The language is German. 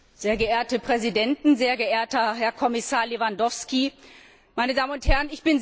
Sehr geehrte Präsidenten, sehr geehrter Herr Kommissar Lewandowski, meine Damen und Herren!